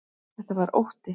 Þetta var ótti.